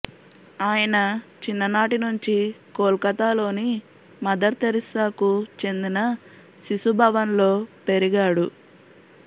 ఆయన చిన్ననాటి నుంచి కోల్కతాలోని మదర్ థెరిస్సాకు చెందిన శిశు భవన్లో పెరిగాడు